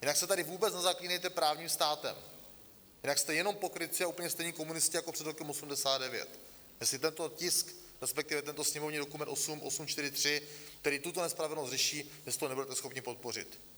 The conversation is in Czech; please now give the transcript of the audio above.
Jinak se tady vůbec nezaklínejte právním státem, jinak jste jenom pokrytci a úplně stejní komunisti jako před rokem 1989, jestli tento tisk, respektive tento sněmovní dokument 8843, který tuto nespravedlnost řeší, jestli ho nebudete schopni podpořit.